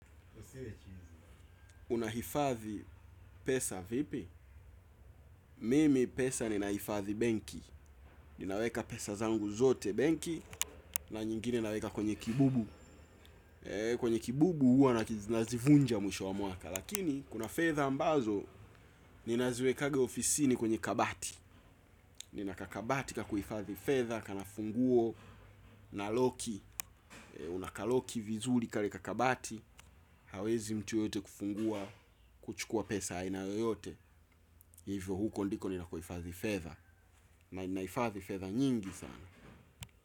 Unahifadhi pesa vipi? Mimi pesa ninahifadhi benki. Ninaweka pesa zangu zote benki, na nyingine naweka kwenye kibubu. Kwenye kibubu huwa na nazivunja mwisho wa mwaka. Lakini, kuna fedha ambazo, ninaziwekanga ofisini kwenye kabati. Nina kakabati kakuhifathi fedha, kana funguo na loki. Unakaloki vizuri kale kakabati. Hawezi mtu yeyote kufungua, kuchukua pesa aina yoyote. Hivyo huko ndiko ninako hifadhi fedha. Na nahifadhi fedha nyingi sana.